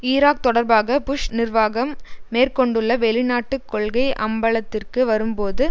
Iraq தொடர்பாக Bush நிர்வாகம் மேற்கொண்டுள்ள வெளிநாட்டு கொள்கை அம்பலத்திற்கு வரும்போது